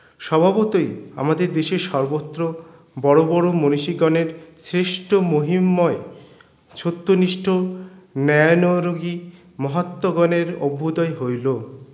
স্বভাবতই আমাদের দেশের সর্বত্র বড়ো বড়ো মনিষীগণের সৃষ্ট মহিম্ময় সত্য নিষ্ঠ ন্যায়নোরোহি মহাত্ম গণের অভ্যূদয় হইলো